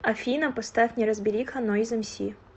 афина поставь неразбериха нойз эмси